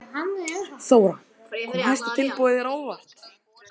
Þóra: Kom hæsta tilboðið þér á óvart?